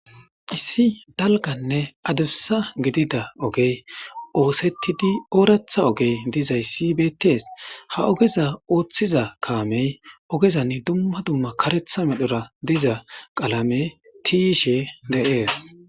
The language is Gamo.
issi dalganne adubsa gidida ogey oosettidi ooretha ogey dizayssi beettees ha ogeza ooththiza kaamey ogezann dumma dumma karetha medhora diza qalame tiishe de7ees